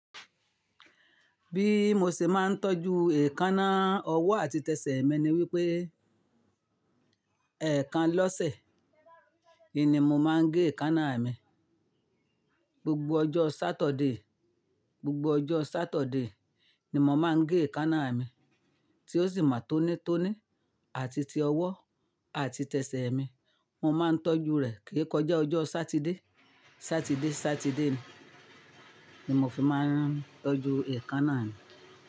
Bí mo ṣe máa ń tọ́jú èékánná ọwọ́ àti tẹsẹ̀ mi ni wípé, ẹ̀ẹ̀kan lọ́sẹ̀ ni mo máa ń gé èékánná mi. Gbogbo ọjọ́ Saturday, gbogbo ọjọ́ Saturday ni mo máa ń gé èékánná mi tí ó sì máa tónítóní àti ti ọwọ́ àti tẹsẹ̀ mi. Mo máa ń tọ́jú rẹ̀ kí kọjá ọjọ́ Saturday, Saturday, Saturday ni mo fi máa ń tọ́jú èékánná mi.